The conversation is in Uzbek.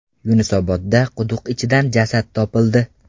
Yunusobodda quduq ichidan jasad topildi.